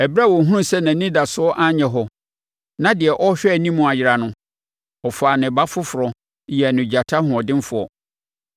“ ‘Ɛberɛ a ɔhunuu sɛ nʼanidasoɔ anyɛ hɔ, na deɛ ɔrehwɛ anim ayera no, ɔfaa ne ba foforɔ yɛɛ no gyata ɔhoɔdenfoɔ.